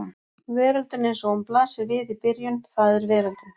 Veröldin eins og hún blasir við í byrjun það er veröldin.